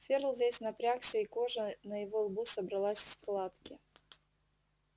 ферл весь напрягся и кожа на его лбу собралась в складки